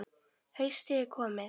Haustið er komið.